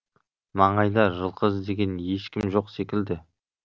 маңайда жылқы іздеген ешкім жоқ секілді